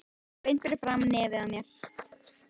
Beint fyrir framan nefið á mér!